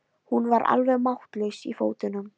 Hún var alveg máttlaus í fótunum.